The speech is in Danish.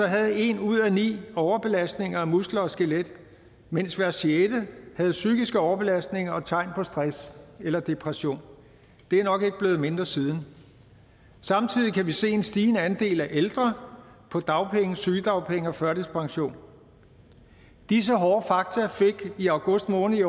havde en ud af ni overbelastninger af muskler og skelet mens hver sjette havde psykiske overbelastninger og tegn på stress eller depression det er nok ikke blevet mindre siden samtidig kan vi se en stigende andel af ældre på dagpenge sygedagpenge og førtidspension disse hårde fakta fik i august måned